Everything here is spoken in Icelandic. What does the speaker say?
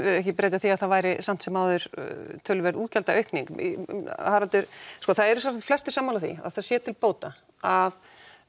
ekki breyta því að það væri samt sem áður töluverð útgjaldaaukning Haraldur það eru sjálfsagt flestir sammála því að það sé til bóta að